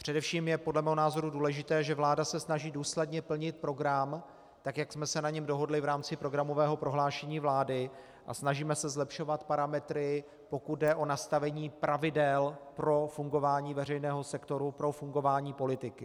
Především je podle mého názoru důležité, že vláda se snaží důsledně plnit program tak, jak jsme se na něm dohodli v rámci programového prohlášení vlády, a snažíme se zlepšovat parametry, pokud jde o nastavení pravidel pro fungování veřejného sektoru, pro fungování politiky.